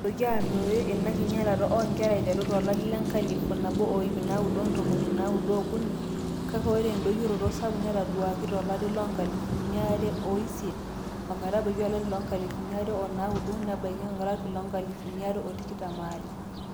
eitu eitoki aruoyo ina kinyalata oonkera aiteru tolari le 1993, kake ore endoyioroto sapuk netaduaaki tolari le 2008-2009 nebaiki 2022